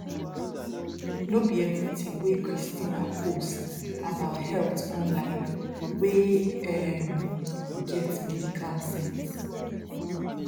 no be everything wey christina post about health online wey um get medical sense